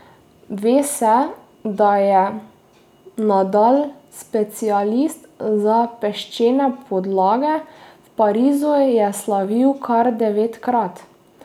Ve se, da je Nadal specialist za peščene podlage, v Parizu je slavil kar devetkrat.